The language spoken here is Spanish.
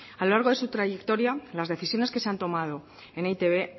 a lo largo de su trayectoria las decisiones que se han tomado en e i te be